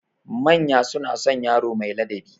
Manya suna son yaro mai ladabi.